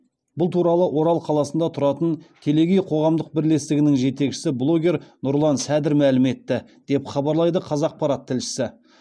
бұл туралы орал қаласында тұратын телегей қоғамдық бірлестігінің жетекшісі блогер нұрлан сәдір мәлім етті деп хабарлайды қазақпарат тілшісі